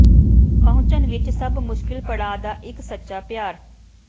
ਪਹੁੰਚਣ ਵਿੱਚ ਸਭ ਮੁਸ਼ਕਲ ਪੜਾਅ ਦਾ ਇੱਕ ਸੱਚਾ ਪਿਆਰ